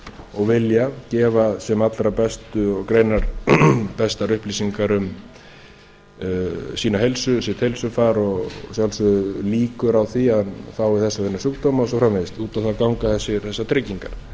og vilja gefa sem allra greinarbestar upplýsingar um sitt heilsufar og að sjálfsögðu líkur á því að hann fái þessa og hina sjúkdóma og svo framvegis út á það ganga þessar tryggingar hér er